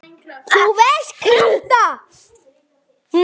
þú veist- krafta.